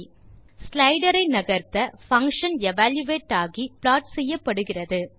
slider ஐ நகர்த்த function evaluate ஆகி ப்ளாட் செய்யப்படுகிறது